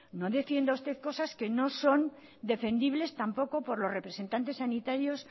no defienda usted cosas que no son defendibles tampoco por los representantes sanitarios